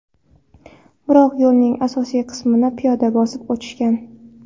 Biroq yo‘lning asosiy qismini piyoda bosib o‘tishgan.